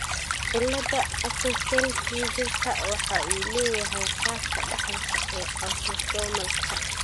Cilada Axenfeld Riegerka waxa uu leeyahay qaabka dhaxalka ee autosomalka.